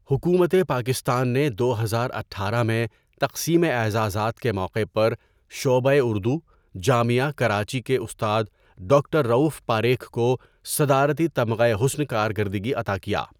حکومت پاکستان نے دو ہزار اٹھارہ میں تقسیم اعزازات کے موقع پر شعبۂ اردو، جامعہ کراچی کے استاد ڈاکٹر رؤف پاریکھ کو صدارتی تمغہ حسن کارکردگی عطا کیا.